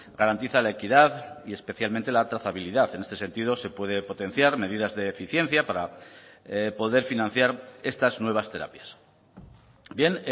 garantiza la equidad y especialmente la trazabilidad en este sentido se puede potenciar medidas de eficiencia para poder financiar estas nuevas terapias bien